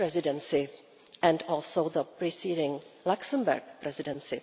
Dutch Presidency, and also the preceding Luxembourg Presidency.